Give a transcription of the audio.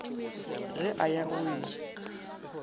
ge a ya go e